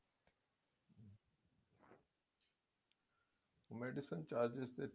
medicine charges ਤੇ